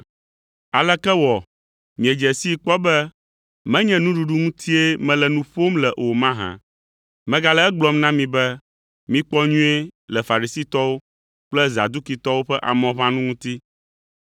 Aleke wɔ miedze sii kpɔ be menye nuɖuɖu ŋutie mele nu ƒom le o mahã? Megale egblɔm na mi be, ‘Mikpɔ nyuie le Farisitɔwo kple Zadukitɔwo ƒe amɔʋãnu ŋuti.’ ”